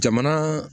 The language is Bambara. Jamana